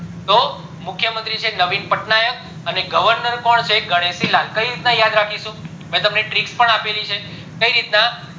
તો મુખ્ય મંત્રી છે નવીન પટનાયક અને governor કોણ છે ગનેશી લાલ કેવી રીતના યાદ રાખીશું મેં તમને trick પણ આપેલી છે કય રીતના